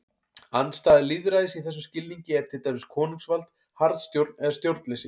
Andstæða lýðræðis í þessum skilningi er til dæmis konungsvald, harðstjórn eða stjórnleysi.